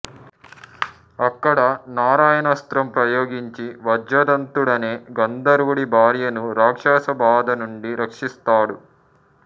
అక్కడ నారాయణాస్త్రం ప్రయోగించి వజ్రదంతుడనే గంధర్వుడి భార్యను రాక్షస బాధనుండి రక్షిస్తాడు